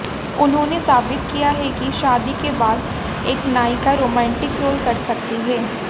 उन्होंने साबित किया है कि शादी के बाद एक नायिका रोमांटिक रोल कर सकती है